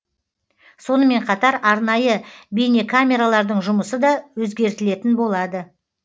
сонымен қатар арнайы бейнекамералардың жұмысы да өзгертілетін болады